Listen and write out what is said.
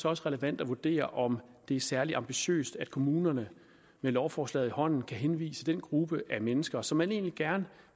også relevant at vurdere om det er særlig ambitiøst at kommunerne med lovforslaget i hånden kan henvise den gruppe af mennesker som man egentlig gerne